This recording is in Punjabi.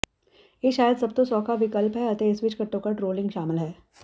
ਇਹ ਸ਼ਾਇਦ ਸਭ ਤੋਂ ਸੌਖਾ ਵਿਕਲਪ ਹੈ ਅਤੇ ਇਸ ਵਿੱਚ ਘੱਟੋ ਘੱਟ ਰੋਲਿੰਗ ਸ਼ਾਮਲ ਹੈ